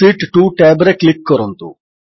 ଶୀତ୍ 2 tab ରେ click କରନ୍ତୁ